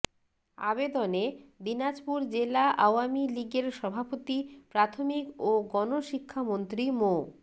আবেদনে দিনাজপুর জেলা আওয়ামী লীগের সভাপতি প্রাথমিক ও গণশিক্ষামন্ত্রী মো